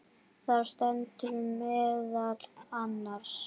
Þar stendur meðal annars